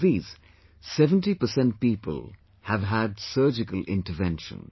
Of these, 70 percent people have had surgical intervention